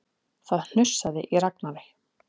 Það hnussaði í Ragnari.